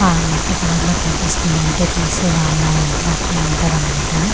ఆ మట్టి కలర్ లో కనిపిస్తుంది అంటే తీసే వల్ల ఇది బట్టి ఉంటాది అన్నమాట అల--